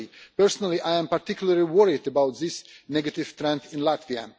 Personally, I am particularly worried about this negative trend in Latvia.